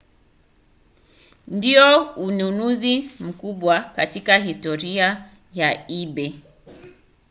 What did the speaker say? ndio ununuzi mkubwa katika historia ya ebay